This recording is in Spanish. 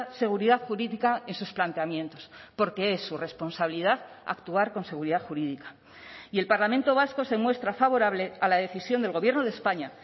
seguridad jurídica en sus planteamientos porque es su responsabilidad actuar con seguridad jurídica y el parlamento vasco se muestra favorable a la decisión del gobierno de españa